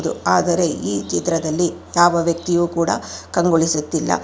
ಆದರೆ ಈ ಚಿತ್ರದಲ್ಲಿ ಯಾವ ವ್ಯಕ್ತಿಯೂ ಕೂಡ ಕಂಗೊಳಿಸುತ್ತಿಲ್ಲ.